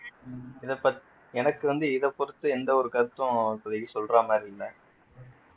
உம் இத பத் எனக்கு வந்து இத பொருத்து எந்த ஒரு கருத்தும் இப்போதிக்கு சொல்ற மாதிரி இல்ல